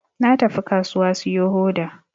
Na tafi kasuwa siyo hoda